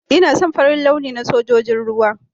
Ina son Farin launi na Sojojin ruwa.